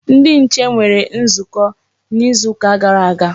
Ndi nche nwere nzukọ n'izuka gara aga.